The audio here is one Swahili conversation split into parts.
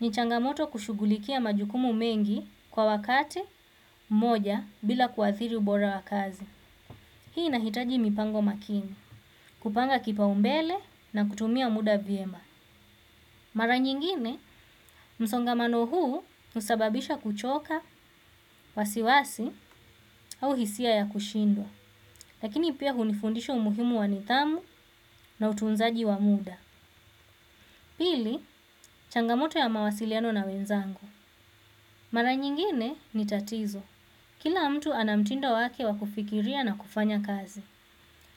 ni changamoto kushugulikia majukumu mengi kwa wakati mmoja bila kuathiri ubora wa kazi. Hii inahitaji mipango makini, kupanga kipaombele na kutumia muda vyema. Mara nyingine, msongamano huu husababisha kuchoka, wasiwasi au hisia ya kushindwa. Lakini pia hunifundisha umuhimu wa nidhamu na utunzaji wa muda. Pili, changamoto ya mawasiliano na wenzangu. Mara nyingine ni tatizo. Kila mtu ana mtindo wake wa kufikiria na kufanya kazi.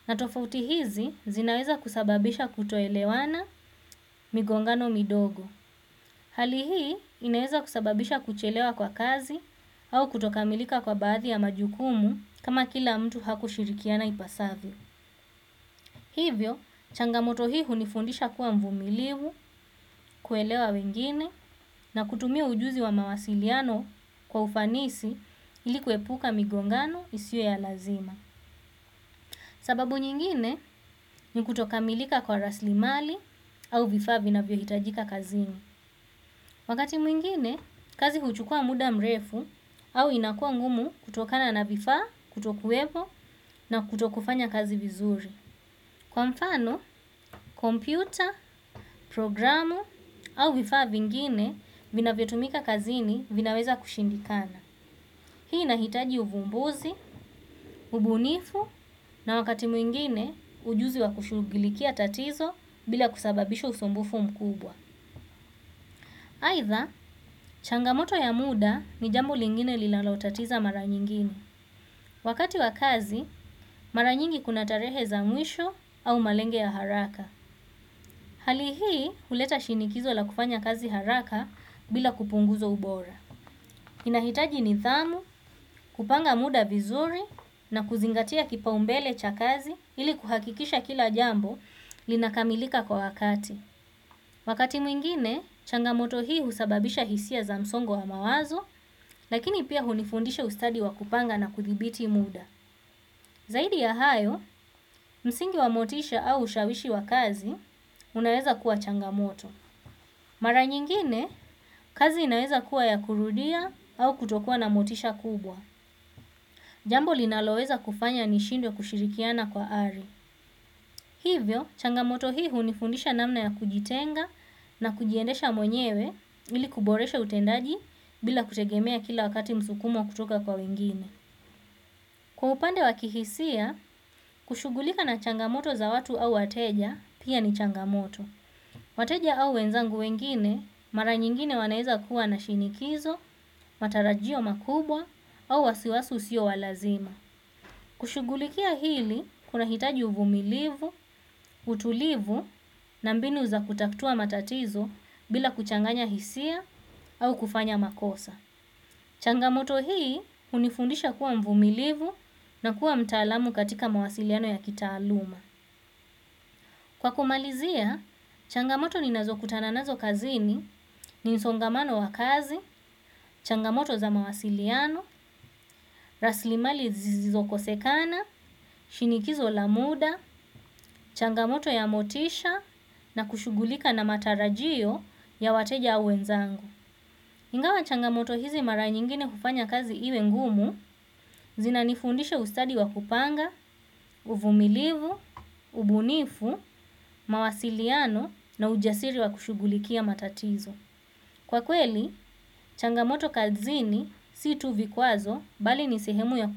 Na tofauti hizi zinaweza kusababisha kutoelewana migongano midogo. Hali hii inaeza kusababisha kuchelewa kwa kazi au kutokamilika kwa baadhi ya majukumu kama kila mtu hakushirikiana ipasavyo. Hivyo changamoto hii hunifundisha kuwa mvumilivu kuelewa wengine na kutumia ujuzi wa mawasiliano kwa ufanisi ili kuepuka migongano isiyo ya lazima sababu nyingine ni kutokamilika kwa raslimali au vifaa vinavyohitajika kazini. Wakati mwingine, kazi huchukua muda mrefu au inakua ngumu kutokana na vifa, kutokuwepo na kutokufanya kazi vizuri. Kwa mfano, kompyuta, programu au vifaa vingine vina vinavyotumika kazini vinaweza kushindikana. Hii inahitaji uvumbuzi, ubunifu na wakati mwingine ujuzi wa kushugilikia tatizo bila kusababisha usumbufu mkubwa. Aidha, changamoto ya muda ni jambo lingine linalotatiza mara nyingine. Wakati wa kazi, mara nyingi kuna tarehe za mwisho au malengo ya haraka. Hali hii, huleta shinikizo la kufanya kazi haraka bila kupunguza ubora. Inahitaji nidhamu, kupanga muda vizuri na kuzingatia kipaombele cha kazi ili kuhakikisha kila jambo linakamilika kwa wakati. Wakati mwingine, changamoto hii husababisha hisia za msongo wa mawazo, lakini pia hunifundisha ustadi wa kupanga na kudhibiti muda. Zaidi ya hayo msingi wa motisha au ushawishi wa kazi unaweza kuwa changamoto. Mara nyingine, kazi inaweza kuwa ya kurudia au kutokua na motisha kubwa. Jambo linaloweza kufanya nishindwe kushirikiana kwa ari. Hivyo, changamoto hii hunifundisha namna ya kujitenga na kujiendesha mwenyewe ili kuboresha utendaji bila kutegemea kila wakati msukumo kutoka kwa wengine. Kwa upande wa kihisia, kushugulika na changamoto za watu au wateja, pia ni changamoto. Wateja au wenzangu wengine, mara nyingine wanaeza kuwa na shinikizo, matarajio makubwa, au wasiwasi usio wa lazima. Kushugulikia hili kuna hitaji uvumilivu, utulivu na mbini za kutatua matatizo bila kuchanganya hisia au kufanya makosa. Changamoto hii hunifundisha kuwa mvumilivu na kuwa mtaalamu katika mawasiliano ya kitaaluma. Kwa kumalizia, changamoto ninazo kutana nazo kazini ni msongamano wa kazi, changamoto za mawasiliano, raslimali zisizokosekana, shinikizo la muda, changamoto ya motisha na kushugulika na matarajio ya wateja au wenzangu. Ingawa changamoto hizi mara nyingine hufanya kazi iwe ngumu, zina nifundisha ustadi wa kupanga, uvumilivu, ubunifu, mawasiliano na ujasiri wa kushugulikia matatizo. Kwa kweli changamoto kazini si tu vikwazo bali ni sehemu ya ku.